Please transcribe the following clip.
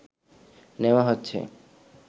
নেওয়া হচ্ছে